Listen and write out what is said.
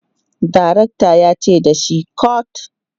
direktan yace da shi"cut!"